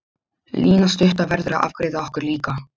Lína stutta verður að afgreiða okkur líka.